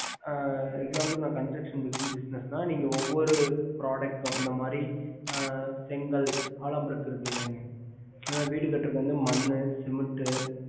construction business ஒவ்வொரு protect இந்த மாரி செங்கல் அலோபிளாக் மணல்